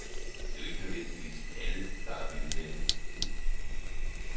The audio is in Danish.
Det er jo ikke nødvendigvis alle, der er vilde med det.